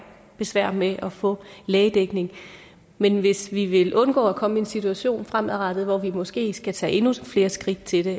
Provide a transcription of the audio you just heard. besvær med at få lægedækning men hvis vi vil undgå at komme i en situation fremadrettet hvor vi måske skal tage endnu flere skridt til det